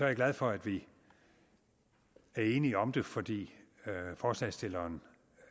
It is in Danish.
jeg glad for at vi er enige om det fordi forslagsstilleren